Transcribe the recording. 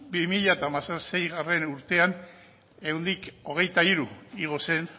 bi mila hamaseigarrena urtean ehuneko hogeita hiru igo zen